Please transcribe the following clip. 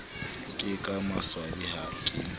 ke ka maswabi ha ke